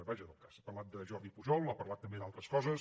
vaja del cas ha parlat de jordi pujol ha parlat també d’altres coses